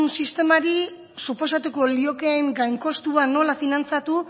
sistemari suposatuko liokeen gain kostua nola finantzatu